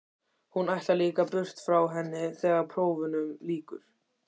Hún ætlar líka burt frá henni þegar prófunum lýkur.